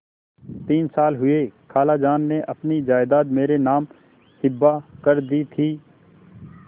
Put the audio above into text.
तीन साल हुए खालाजान ने अपनी जायदाद मेरे नाम हिब्बा कर दी थी